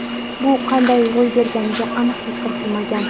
Bu qanday ro‘y berganiga aniqlik kiritilmagan.